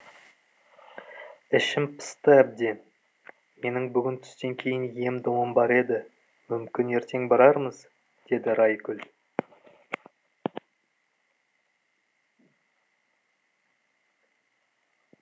ішім пысты әбден менің бүгін түстен кейін ем домым бар еді мүмкін ертең барармыз деді райгүл